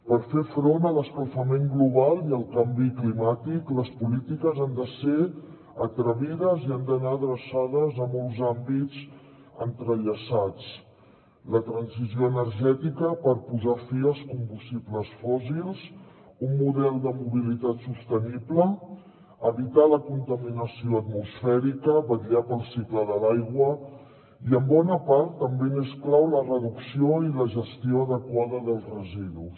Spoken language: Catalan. per fer front a l’escalfament global i al canvi climàtic les polítiques han de ser atrevides i han d’anar adreçades a molts àmbits entrellaçats la transició energètica per posar fi als combustibles fòssils un model de mobilitat sostenible evitar la contaminació atmosfèrica vetllar pel cicle de l’aigua i en bona part també és clau la reducció i la gestió adequada dels residus